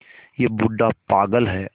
यह बूढ़ा पागल है